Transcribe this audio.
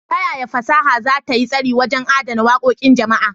Ta yaya fasaha za ta yi tasiri wajen adana waƙoƙin jama'a?